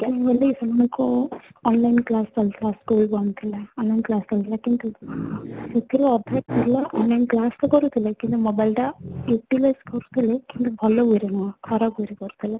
ସେମାନ ଙ୍କୁ online class ଚାଲୁଥିଲା school ବନ୍ଦ ଥିଲା online class ଚାଲୁଥିଲା କିନ୍ତୁ ସେଥିରୁ ଅଧା ପିଲା online class ତ କରୁ ଥିଲେ କିନ୍ତୁ mobile ଟା utilize କରୁ ଥ୍ଗିଲେ କିନ୍ତୁ ଭଲ way ରେ ନୁହଁ ଖରାପ way ରେ କରୁଥିଲେ